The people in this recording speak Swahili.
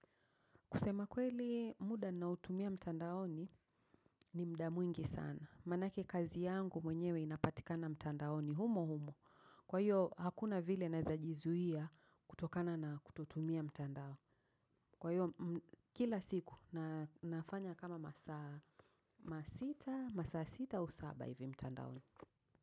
Kusema kweli muda ninaotumia mtandaoni ni mtandaoni ni muda mwingi sana. Manake kazi yangu mwenyewe inapatika na mtandaoni humo humo. Kwa hiyo, hakuna vile naweza jizuia kutokana na kutotumia mtandao. Kwa hiyo, kila siku nafanya kama masaa, masita masaa sita au saba hivi mtandaoni.